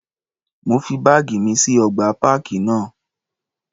Mo fi báàgì mi sí ọgbà páàkì náà.